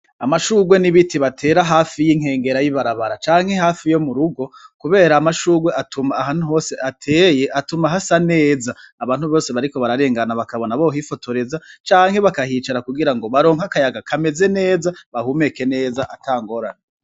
Amashurwe n'ibiti batera hafi yi nkengera y'ibarabara canke hafi yo mu rugo kubera amashurwe ahantu hose ateye hatuma hasa neza abantu bose bariko bararengana bakabona bohifotoreza canke bakahicara kugira ngo baronke akayaga kameze neza bahumeke neza atangorane.